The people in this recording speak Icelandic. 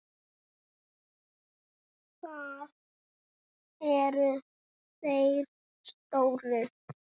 Það eru þeir stóru.